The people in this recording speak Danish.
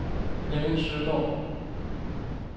Flemming Søgaard